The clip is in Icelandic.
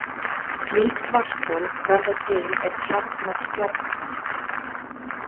Slík svarthol verða til er kjarnar stjarnanna.